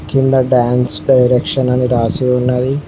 కింద dance direction అని రాసి ఉన్నది.